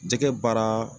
Jɛgɛ baara